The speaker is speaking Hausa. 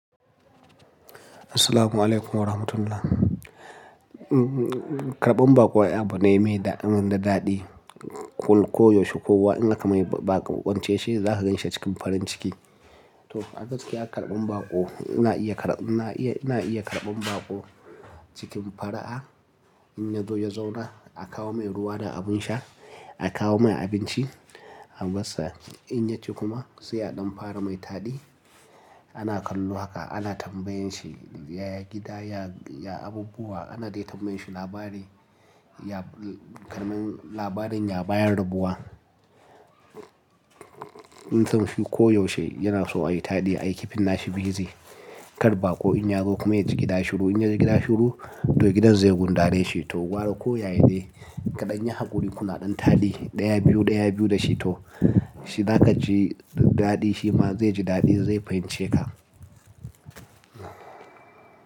Assalamualaikum warahmatullah. Karɓan baƙo ai abu ne mai daɗi man da daɗi. Koda yaushe kowa in akamai bako shine zakaganshi acikin farin ciki. Toh a gaskiya karban baƙo, ina iya karban baƙo cikin fara'a Inyazo ya zauna akawo mai ruwa da abunsha, akawo mai abinci, abasa, inyaci kuma sai afaramai taɗi ana kallo haka, ana tambayanshi ya gida, ya abubuwa, anadai tambayanshi labarin ya bayan rabuwa. Inta rifi ko yaushe yanaso ayi taɗi ayi keeping nashi busy. Ƙar baƙo inyazo kuma yaji gida shiru, In ya ji gida shiru to gidan zai gudare shi to Wani ko yayane kaɗan yi hakuri kuna ɗan taɗi ɗaya biyu, ɗaya biyu da shi to. To zaka ji daɗi shi ma zai ji daɗi zai fahimce ka.